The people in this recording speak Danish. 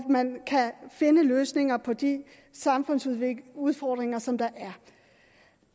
man kan finde løsninger på de samfundsudfordringer som der er